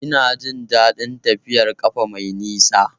Ina jin daɗin tafiyar ƙafa mai nisa